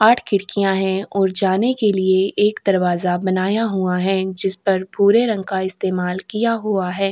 आठ खिड़किया है और जाने के लिए एक दरवाजा बनाया हुआ है। जिस पर भूरे रंग का इस्तेमाल किया हुआ है।